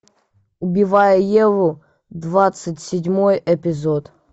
убивая еву двадцать седьмой эпизод